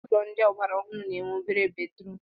Ụlọ ndị ọgbara ọhụrụ na-enwe obere bedrum